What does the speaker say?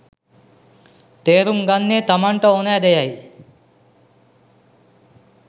තේරුම් ගන්නේ තමන්ට ඕනෑ දෙයයි.